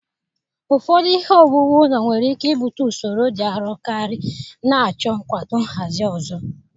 Ụfọdụ ihe owuwu ụlọ nwere ike ibute usoro dị arọ karị, na-achọ nkwado nhazi ọzọ.